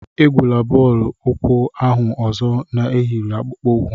Egwula bọọlụ ukwu ahụ ozo na-eyighị akpụkpọ ukwu!